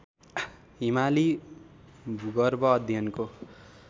हिमाली भूगर्व अध्ययनको